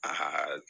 Aa